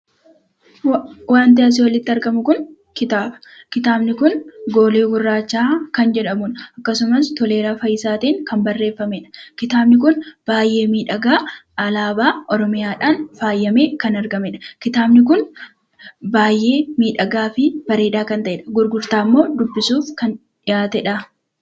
Wanti asii olitti argamu kun kitaaba. Kitaabni kun " GOOLII GURRAACHA" kan jedhamudha. Akkasumas Toleeraa Fayisaa tiin kan barreeffamedha. Kitaabni kun baay'ee miiidhagaa alaabaa Oromiyaadhaan faayamee kan argamedha. Kitaabni kun baay'ee miidhagaa fi bareedaa kan ta'edha. Gurgurtaamoo dubbisuuf kan dhiyaatedhaa?